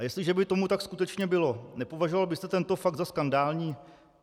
A jestliže by tomu tak skutečně bylo, nepovažoval byste tento fakt za skandální?